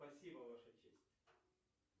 спасибо ваша честь